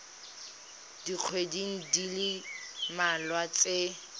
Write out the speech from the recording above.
dikgweding di le mmalwa tse